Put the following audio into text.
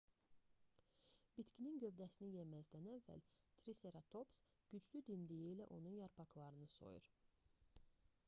bitkinin gövdəsini yeməzdən əvvəl triseratops güclü dimdiyi ilə onun yarpaqlarını soyur